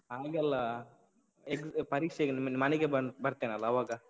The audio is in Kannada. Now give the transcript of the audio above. ಹಾಗಲ್ಲ, ಪರೀಕ್ಷೆಗೆ ಮನೆಗೆ ಬನ್~ ಬರ್ತೇನಲ್ಲ ಅವಾಗ.